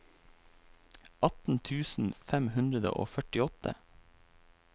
atten tusen fem hundre og førtiåtte